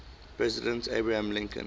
president abraham lincoln